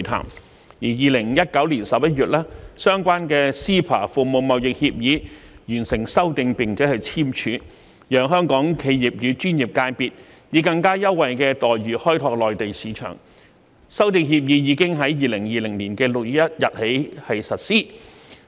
及至2019年11月，相關的 CEPA《服務貿易協議》完成修訂並簽署，讓香港企業與專業界別以更優惠待遇開拓內地市場，而經修訂的《服務貿易協議》已於2020年6月1日開始實施。